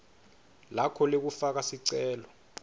lakho lekufaka sicelo